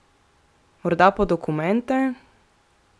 Morda po dokumente?